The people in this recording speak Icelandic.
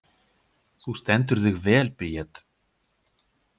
Þú stendur þig vel, Bríet!